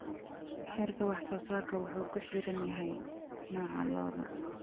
Heerka wax-soo-saarku wuxuu ku xiran yahay nooca lo'da.